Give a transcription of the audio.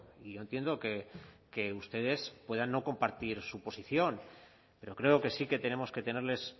y yo entiendo que ustedes puedan no compartir su posición pero creo que sí que tenemos que tenerles